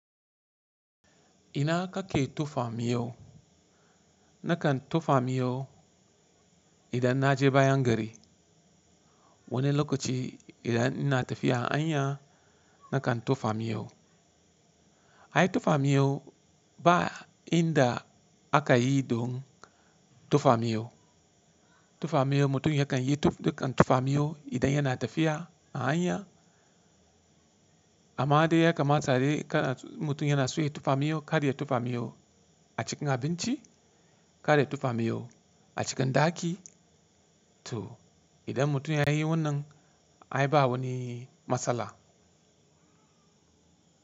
Ina kake tofa miyau? Nakan tofa miyau idan na je bayan gari. Wani lokaci idan ina tafiya a hanya nakan tofa miyau. Ai tofa miyau ba inda aka yi don tofa miyau. Tofa miyaubmutum yakan yi dukan tofa miyau idan yana tafiya a hanya. Amma dai yakamata dai kada mutum yana so ya tofa miyau, kar ya tofa miyo a cikin abinci, kar ya tofa miyau a cikin ɗaki. To idan mutum ya yi wannan ai ba wani matsala.